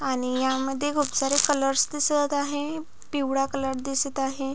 आणि यामध्ये खुप सारे कलर्स दिसत आहे पिवळा कलर दिसत आहे.